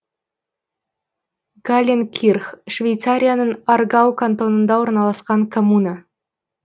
галленкирх швейцарияның аргау кантонында орналасқан коммуна